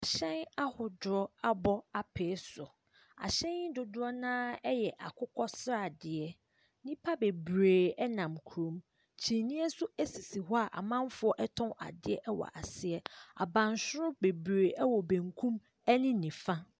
Hyɛn ahodoɔ abɔ apee so, ahyɛn dodoɔ no ara yɛ akokɔsradeɛ. Nnipa bebree nam kurom, kyineɛ nso sisi hɔ a amamfoɔ tɔn adeɛ wɔ aseɛ. Abansoro bebree wɔ bankum ne nifa.